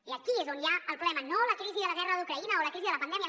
i aquí és on hi ha el problema no a la crisi de la guerra d’ucraïna o a la crisi de la pandèmia